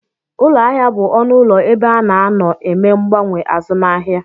Ụlọahịa bụ ọnụụlọ ebe a na-anọ eme mgbanwe azụmahịa